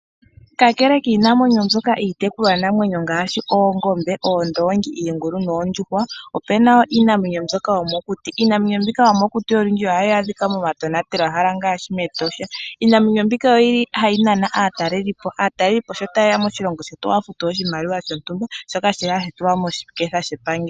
Kakele kiinamwenyo mbyoka iitekulwa namwenyo ngaashi oongombe ,oondongi, iingulu noondjuhwa opena woo iinamwenyo mbyoka yomokuti. Iinamwenyo mbika yomokuti ohayi adhika moma tonatelwa hala ngaashi metosha. Iinamwenyo mbika oyeli haya nana aatalelipo. Aatalelipo sho ta yeya moshilongo shetu ohaya futu oshimaliwa shontumba shoka shili hashi tulwa moshiketha shepangelo.